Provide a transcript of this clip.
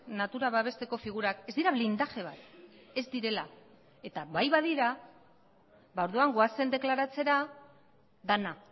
natura babesteko figurak ez dira blindaje bat ez direla eta bai badira orduan goazen deklaratzera dena